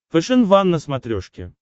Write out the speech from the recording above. фэшен ван на смотрешке